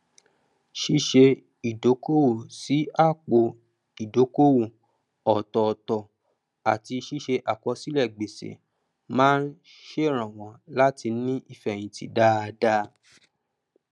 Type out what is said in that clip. ṣíṣe ìdókòwò sí àpò ìdókòwò ọtọọtọ àti síse àkọsílẹ gbèsè máa sèrànwọ láti ní ìfẹyìntì dáadá